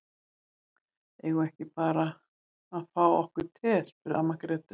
Eigum við ekki bara að fá okkur te, spurði amma Gréta.